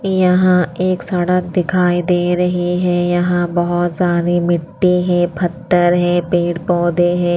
यहां एक सड़क दिखाई दे रही है यहां बहुत सारी मिट्टी है पत्थर है पेड़-पौधे हैं।